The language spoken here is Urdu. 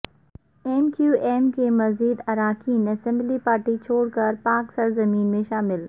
ایم کیو ایم کے مزید اراکین اسمبلی پارٹی چھوڑ کر پاک سرزمین میں شامل